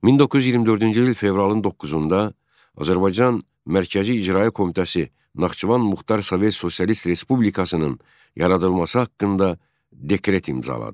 1924-cü il fevralın 9-da Azərbaycan Mərkəzi İcraiyyə Komitəsi Naxçıvan Muxtar Sovet Sosialist Respublikasının yaradılması haqqında dekret imzaladı.